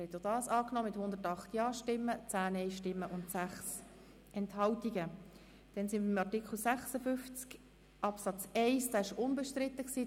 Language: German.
Sie haben auch diesen Antrag angenommen mit 108 Ja- zu 10 Nein-Stimmen bei 6 Enthaltungen.